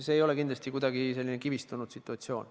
See ei ole kindlasti kuidagi kivistunud situatsioon.